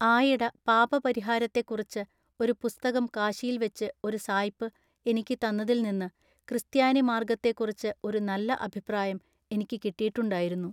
ആയിട പാപപരിഹാരത്തെക്കുറിച്ച് ഒരു പുസ്തകം കാശിയിൽവച്ച് ഒരു സായിപ്പ് എനിക്ക് തന്നതിൽനിന്ന് ക്രിസ്ത്യാനി മാർഗ്ഗത്തെക്കുറിച്ച് ഒരു നല്ല അഭിപ്രായം എനിക്ക് കിട്ടീട്ടുണ്ടായിരുന്നു.